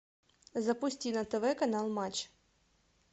запусти на тв канал матч